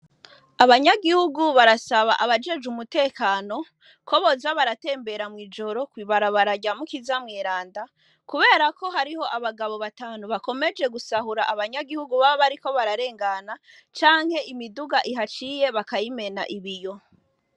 Abanyagihugu barasaba abajejwe umutekano, ko boza baratembera mw' ijoro kw' ibarabara rya Mukiza Mweranda, kubera ko hariho abagabo batanu bakomeje gusaba abanyagihugu baba bariko bararengana, canke ibiduga ahaciye bakayimena ibiyo.